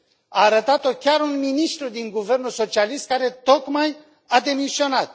A arătat o chiar un ministru din guvernul socialist care tocmai a demisionat.